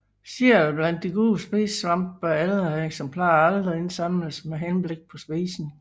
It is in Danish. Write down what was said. Selv blandt de gode spisesvampe bør ældre eksemplarer aldrig indsamles med henblik på spisning